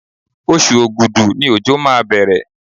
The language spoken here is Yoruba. Oṣù Ògùdú ni òjò máa bẹ̀rẹ̀.